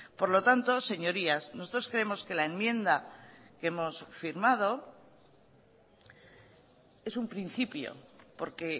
por lo tanto señorías nosotros creemos que la enmienda que hemos firmado es un principio porque